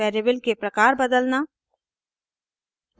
variable के प्रकार बदलना